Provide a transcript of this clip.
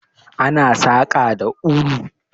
Ana saƙa da ulu.